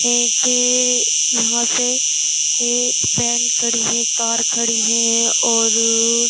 एक यहां से ये वैन खड़ी है कार खड़ी है और --